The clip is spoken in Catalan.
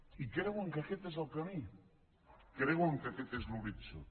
i creuen que aquest és el camí creuen que aquest és l’horitzó